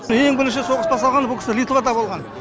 ең бірінші соғыс басталғанда бұл кісі литвада болған